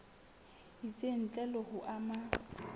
itseng ntle le ho ama